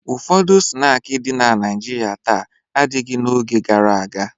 Ụfọdụ snaakị dị na Naịjirịa taa adịghị n'oge gara aga.